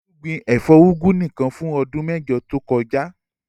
Olú gbin ẹ̀fọ́ úgú nìkan fún ọdún mẹ́jọ tó kọjá.